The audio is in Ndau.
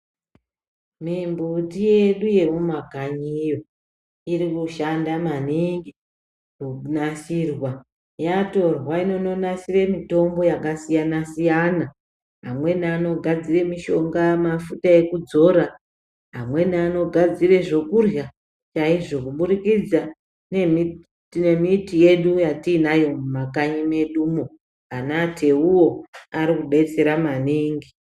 Mimbiti yedu yemumakanyi medu iri kushanda maningi yanasirwa yatorwa inononasira mitombo yakasiyana siyana amweni anogadzira mushonga mafuta ekudzora amweni anogadzira zvekurya chaizvo kubudikidza nemiti yedu yatinayo mumakanyi medumo anateiwo Ari kudetsera maningi.